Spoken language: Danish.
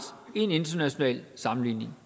i en international sammenligning